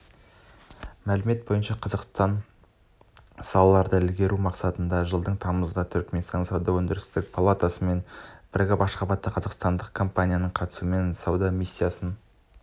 мәлімет бойынша қазақстандық салаларды ілгерілету мақсатында жылдың тамызында түрікменстанның сауда-өндірістік палатасымен бірігіп ашхабадта қазақстандық компанияның қатысуымен сауда миссиясын